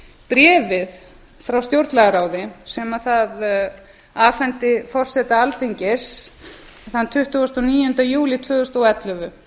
bréfið frá stjórnlagaráði sem það afhenti forseta alþingis þann tuttugasta og níunda júlí tvö þúsund og ellefu